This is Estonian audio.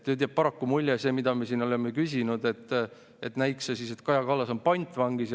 Nüüd jääb paraku mulje – see, mille kohta me siin oleme küsinud –, näikse siis, et Kaja Kallas on pantvangis.